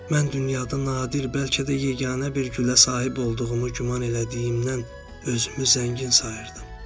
Mən dünyada nadir, bəlkə də yeganə bir gülə sahib olduğumu güman elədiyimdən özümü zəngin sayırdım.